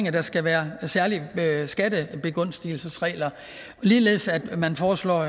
at der skal være særlige skattebegunstigelsesregler og ligeledes at man foreslår